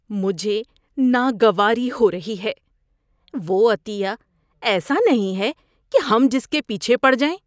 مجھے ناگواری ہو رہی ہے! وہ عطیہ ایسا نہیں ہے کہ ہم جس کے پیچھے پڑ جائیں۔